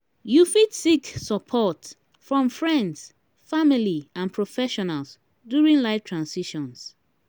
you fit seek support from friends family and professionals during life transitions.